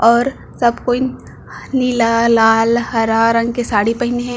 और सब कोई नीला लाल हरा रंग के साड़ी पहीने हे।